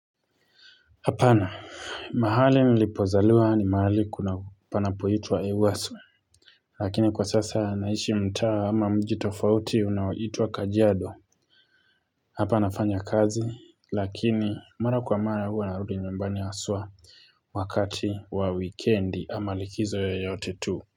Hapana, mahali nilipozaliwa ni mahali kuna, panapoituwa Ewaso, lakini kwa sasa naishi mtaa ama mji tofauti unaoitwa Kajiado. Hapa nafanya kazi, lakini mara kwa mara hua narudi nyumbani haswa wakati wa wikendi ama likizo yoyote tu.